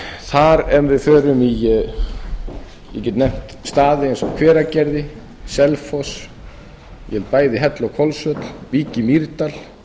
þar ef við förum í ég get nefnt staði eins og hveragerði selfoss ég held bæði hellu og hvolsvöll vík í mýrdal